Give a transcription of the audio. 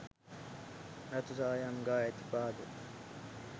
රතුසායම් ගා ඇති පාද,